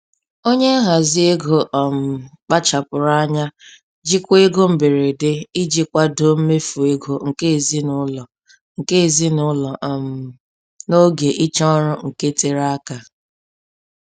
Onye nhazi ego um kpachapụrụ anya jikwaa ego mberede iji kwadoo mmefu ego nke ezinụlọ nke ezinụlọ um n'oge ịchọ ọrụ nke tere aka.